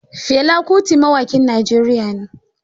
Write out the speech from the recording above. Fela kuti mawaƙin Najeriya ne.